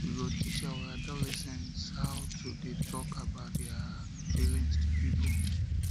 we go teach our adolescents how to dey tok about their um about their um feelings to pipo